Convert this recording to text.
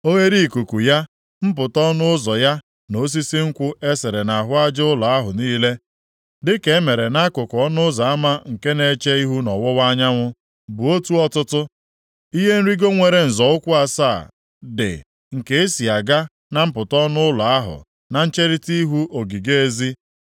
Oghereikuku ya, mpụta ọnụ ụzọ ya na osisi nkwụ e sere nʼahụ aja ụlọ ahụ niile, dịka e mere nʼakụkụ ọnụ ụzọ ama nke na-eche ihu nʼọwụwa anyanwụ, bụ otu ọtụtụ. Ihe nrigo nwere nzọ ụkwụ asaa dị nke e si aga na mpụta ọnụ ụlọ ahụ na ncherita ihu ogige ezi.